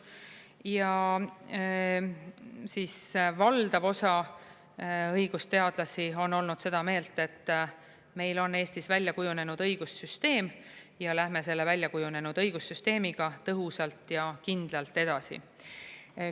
Ja siis valdav osa õigusteadlasi on olnud seda meelt, et meil on Eestis välja kujunenud õigussüsteem ja läheme selle väljakujunenud õigussüsteemiga tõhusalt ja kindlalt edasi.